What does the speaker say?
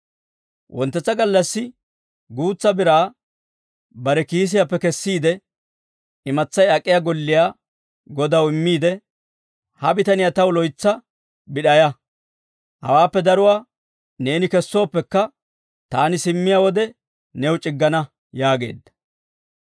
Wonttetsa gallassi guutsa biraa bare kiisiyaappe kessiide, imatsay ak'iyaa golliyaa godaw immiide, ‹Ha bitaniyaa taw loytsa bid'ayaa; hawaappe daruwaa neeni kessooppekka, taani simmiyaa wode new c'iggana› yaageedda.